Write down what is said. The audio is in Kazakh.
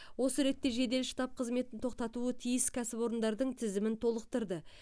осы ретте жедел штаб қызметін тоқтатуы тиіс кәсіпорындардың тізімін толықтырды